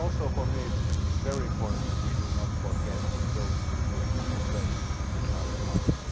For me it is also very important that we do not forget those who put the bread in our mouths.